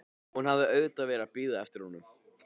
Hún hafði auðvitað verið að bíða eftir honum.